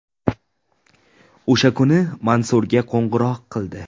O‘sha kuni Mansurga qo‘ng‘iroq qildi.